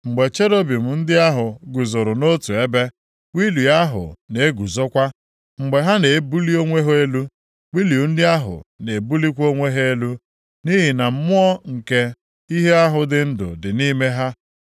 Mgbe cherubim ndị ahụ guzoro nʼotu ebe, wịịlu ahụ na-eguzokwa. Mgbe ha na-ebuli onwe ha elu, wịịlu ndị ahụ na-ebulikwa onwe ha elu, nʼihi na mmụọ nke ihe ahụ dị ndụ dị nʼime ha.